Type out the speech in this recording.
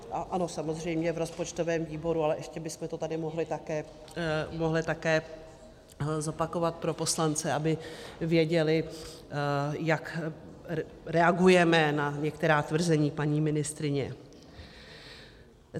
Ano, samozřejmě v rozpočtovém výboru, ale ještě bychom to tady mohli také zopakovat pro poslance, aby věděli, jak reagujeme na některá tvrzení paní ministryně.